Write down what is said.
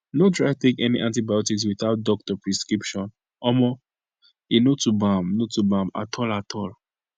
no try take any antibiotics without doctor prescription omo e no to bam no to bam at all at all